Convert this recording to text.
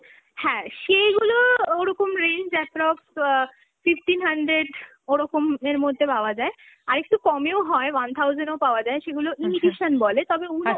হ্যাঁ, সেগুলো ওরকম range approx অ্যাঁ fifteen hundred, ওরকমের মদ্ধ্যে পাওয়া যায়, আর একটু কমেও হয় one thousand এও পাওয়া যায়, সেগুলো imitation বলে, তবে ওগুলো